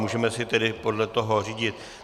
Můžeme se tedy podle toho řídit.